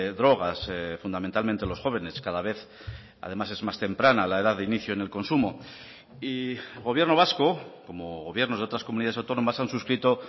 drogas fundamentalmente los jóvenes cada vez además es más temprana la edad de inicio en el consumo y gobierno vasco como gobiernos de otras comunidades autónomas han suscrito